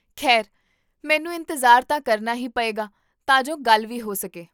ਖੈਰ, ਮੈਨੂੰ ਇੰਤਜ਼ਾਰ ਤਾਂ ਕਰਨਾ ਹੀ ਪਏਗਾ ਤਾਂ ਜੋ ਗੱਲ ਵੀ ਹੋ ਸਕੇ